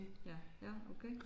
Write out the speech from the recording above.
Ja ja okay